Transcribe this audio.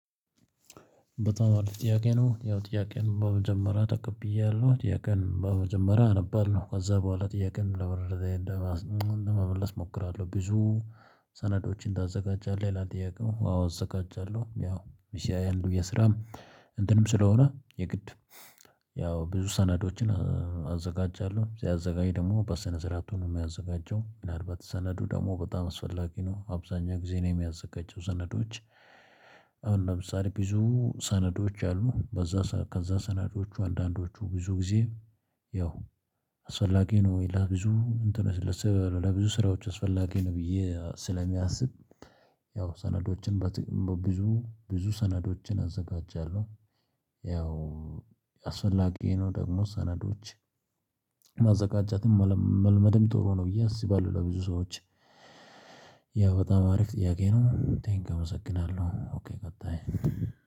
በጣም አሪፍ ጥያቄ ነው። ያው ጥያቄውን በመጀመሪያ ተቀብያለሁ ጥያቄውን በመጀመሪያ አነባለሁ ከዛ በኋላ ጥያቄውን ለመመለስ እሞክራለሁ ብዙ ሰነዶችን ታዘጋጃለህ ይላል? ጥያቄው አዎ አዘጋጃለሁ። ያው የስራም እንትንም ስለሆነ የግድ ያው ብዙ ሰነዶችን አዘጋጃለሁ ሲያዘጋጅ ደግሞ በሰነስርአቱ ነው የሚያዘጋጀው ምናልባት ሰነዱ ደግሞ በጣም አስፈላጊ ነው አብዛኛው ጊዜ ነው የሚያዘጋጀው። ሰነዶች አሁን ለምሳሌ ብዙ ሰነዶች አሉ በዛ ከዛ ሰነዶቹ አንዳንዶቹ ብዙ ጊዜ ያው አስፈላጊ ነው። ሌላ ብዙ እንትን ለስራ ለብዙ ስራዎች አስፈላጊ ነው። ብዬ ስለሚያስብ ያው ሰነዶችን በትክ በብዙ ብዙ ሰነዶችን አዘጋጃለሁ። ያው አስፈላጊዬ ነው ደግሞ ሰነዶች ማዘጋጀትን መልመድም ጥሩ ነው ብዬ አስባለሁ። ለብዙ ሰዎች ያ በጣም አሪፍ ጥያቄ ነው። ቴንኪው እመሰግናለሁ ኦኬ ቀጣይ